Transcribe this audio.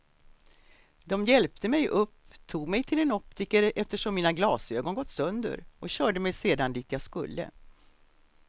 De hjälpte mig upp, tog mig till en optiker eftersom mina glasögon gått sönder och körde mig sedan dit jag skulle.